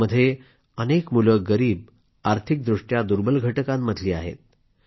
यामध्ये अनेक मुले गरीब आर्थिकदृष्ट्या दुर्बल घटकातली आहेत